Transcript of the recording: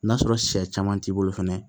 N'a sɔrɔ sɛ caman t'i bolo fɛnɛ